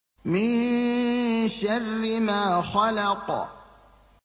مِن شَرِّ مَا خَلَقَ